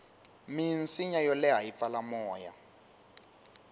minsinya yo leha yi pfala moya